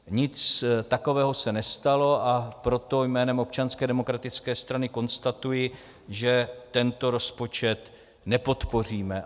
Nic takového se nestalo, a proto jménem Občanské demokratické strany konstatuji, že tento rozpočet nepodpoříme.